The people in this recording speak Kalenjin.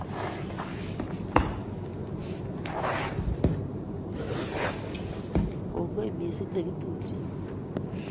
Kongoi missing negitupche